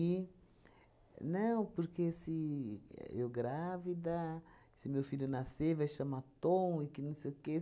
Não, porque se eu grávida, se meu filho nascer, vai chamar Tom e que não sei o quê.